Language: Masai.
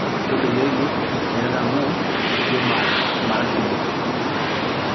tolikioki derat amu ijo marasidai